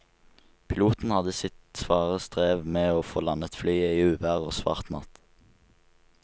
Piloten hadde sitt svare strev med å få landet flyet i uvær og svart natt.